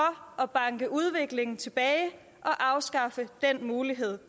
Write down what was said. at banke udviklingen tilbage og afskaffe den mulighed